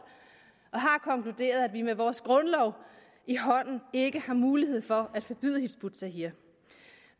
og har konkluderet at vi med vores grundlov i hånden ikke har mulighed for at forbyde hizb ut tahrir